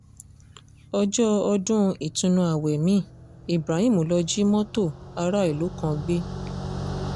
ọjọ́ ọdún ìtùnú ààwẹ̀ mi ibrahim lóò jí mọ́tò aráàlú kan gbé